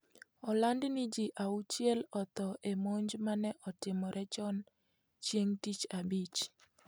Oland ni ji auchiel otho e monj mane otimore chon chieng' tich abich.